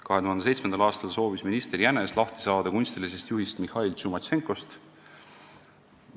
2007. aastal soovis minister Jänes lahti saada kunstilisest juhist Mihhail Tšumatšenkost.